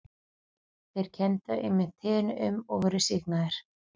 Þeir kenndu einmitt teinu um og voru sýknaðir.